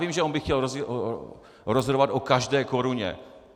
Vím, že on by chtěl rozhodovat o každé koruně.